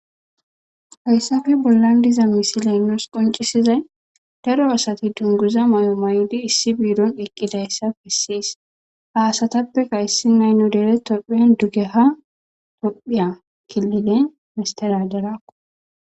hayssafe bollan diza misileenos qoncisizay daro asati dunguza may7o may7odi issi biidon eqqidayssa pissis haasatappeka issi nay nu dere toppheyan dugeha tophiya killine misteradarakko